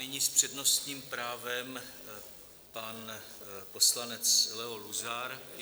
Nyní s přednostním právem pan poslanec Leo Luzar.